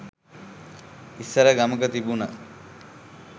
ඉස්සර ගමක තිබුන